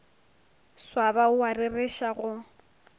swaba o a rereša go